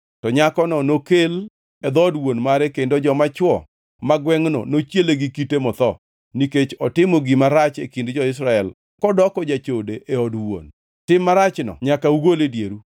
to nyakono nokel e dhood wuon mare kendo joma chwo ma gwengʼno nochiele gi kite motho, nikech otimo gima rach e kind jo-Israel kodoko jachode e od wuon. Tim marachno nyaka ugol e dieru.